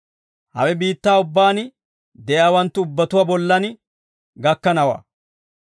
Hawe biittaa ubbaan de'iyaawanttu ubbatuwaa bollan gakkanawaa.